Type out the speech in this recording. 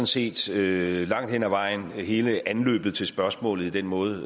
set langt hen ad vejen hele anløbet til spørgsmålet i den måde